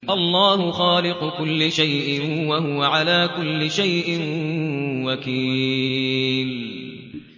اللَّهُ خَالِقُ كُلِّ شَيْءٍ ۖ وَهُوَ عَلَىٰ كُلِّ شَيْءٍ وَكِيلٌ